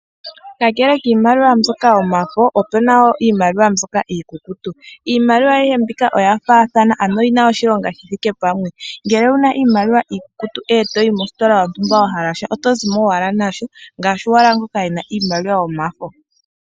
Kakele kiimaliwa mbyoka yomafo, opu na wo iimaliwa mbyoka iikukutu. Iimaliwa ayihe mbika oya faathano, ano oyi na oshilonga shi thike pamwe. Ngele owu na iimaliwa iikukutu, e to yi mositola yontumba wu na shoka wa hala oto zi mo owala nasho ngaashi owala ngoka e na iimaliwa yomafo.